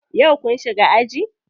Yau kun shiga aji?